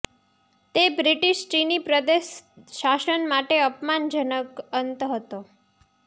તે બ્રિટિશ ચિની પ્રદેશ શાસન માટે અપમાનજનક અંત હતો